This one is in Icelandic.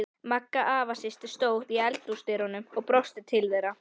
Magga afasystir stóð í eldhúsdyrunum og brosti til þeirra.